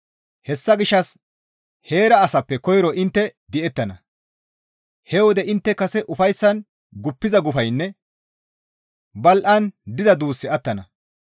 Hessa gishshas heera asappe koyro intte di7ettana; he wode intte kase ufayssan guppiza gufaynne badhdhi gi diza duussi attana.